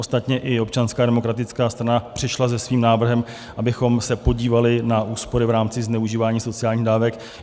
Ostatně i Občanská demokratická strana přišla se svým návrhem, abychom se podívali na úspory v rámci zneužívání sociálních dávek.